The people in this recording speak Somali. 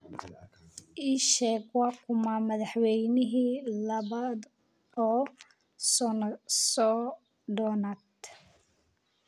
ii sheeg waa kuma madaxweynihii labaad iyo soddonaad